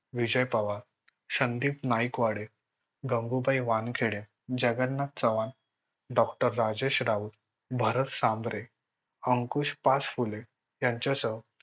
विजय Pawar, Sandeep Naikwade, Gangubai Wankhade, Jagannath Chavan, doctor Rajesh Raut, Bharat Sambhare, Ankush Pachphule यांच्यासह